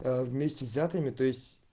вместе взятыми то есть